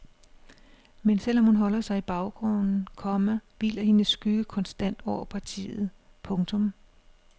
Men selv om hun holder sig i baggrunden, komma hviler hendes skygge konstant over partiet. punktum